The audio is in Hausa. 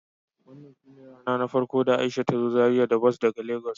Wannan shine na farko da Aisha ta zo Zaria da bas daga lagos.